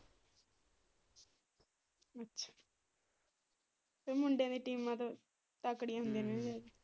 ਮੁਡਿਆਂ ਦੀਆਂ ਟੀਮਾਂ ਤਾ ਤਕੜਿਆਂ ਹੁੰਦੀਆਂ ਨੇ।